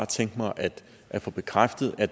tænke mig at få bekræftet at